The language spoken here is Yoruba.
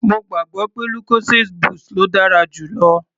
Mo gbàgbọ́ pé lucozade boost ló dára jù lọ.